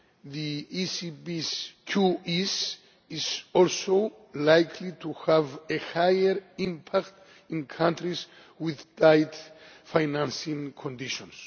The ECB's QE is also likely to have a higher impact in countries with tight financing conditions.